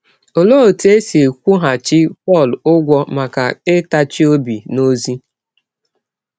Ọlee ọtụ e si kwụghachi Pọl ụgwọ maka ịtachi ọbi n’ọzi?